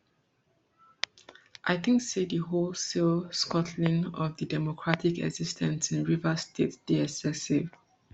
i think say di wholesale scuttling of di democratic exis ten ce in rivers state dey excessive